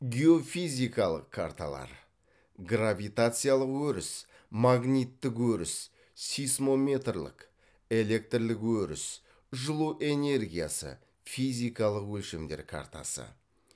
геофизикалық карталар гравитациялық өріс магниттік өріс сейсмометрлік электрлік өріс жылу энергиясы физикалық өлшемдер картасы